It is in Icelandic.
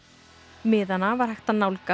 miðana var hægt að nálgast